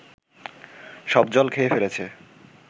সব জল খেয়ে ফেলেছে